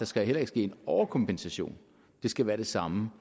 skal ske en overkompensation det skal være den samme